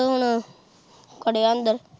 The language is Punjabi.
ਬਸ ਹੁਣ ਖੜਿਆ ਅੰਦਰ।